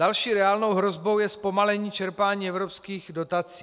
Další reálnou hrozbou je zpomalení čerpání evropských dotací.